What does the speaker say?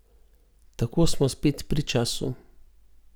Tako smo spet pri času.